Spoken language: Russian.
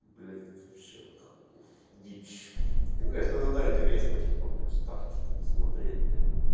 блять вообще нахуй дичь конечно оно да интересно что-то там почитать что-то там посмотреть